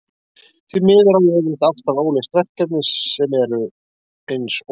Því miður á ég yfirleitt alltaf óleyst verkefni, sem eru eins og